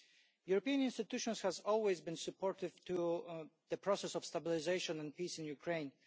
The European institutions have always been supportive of the process of stabilisation and peace in the Ukraine.